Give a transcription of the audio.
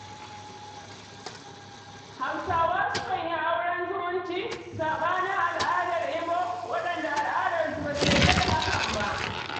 Hausawa sukan yi auren zumunci, saɓanin al'ummar Igbo, waɗanda al'darsu ba ta yarda da hakan ba.